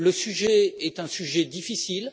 Le sujet est un sujet difficile.